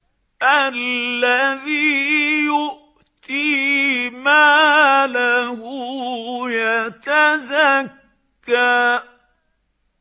الَّذِي يُؤْتِي مَالَهُ يَتَزَكَّىٰ